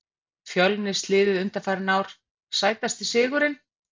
fjölnis liðið undanfarin ár Sætasti sigurinn?